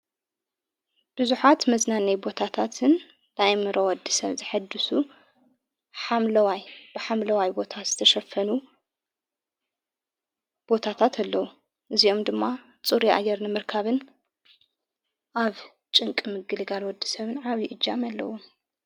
ብዙኃት መዝናነይ ቦታታትን ላይመሮ ወዲ ሰብ ዘሐድሱ ሓለዋይ ብሓምለዋይ ቦታት ዝተሸፈኑ ቦታታት ኣለዉ እዚኦም ድማ ፁሪ ኣየርንምርካብን ኣብ ጭንቂ ምግሊ ጋል ወዲ ሰብን ዓብዪ እጃም ኣለዉ።